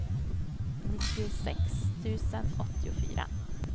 nittiosex tusen åttiofyra